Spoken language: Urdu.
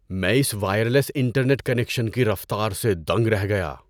میں اس وائرلیس انٹرنیٹ کنکشن کی رفتار سے دنگ رہ گیا۔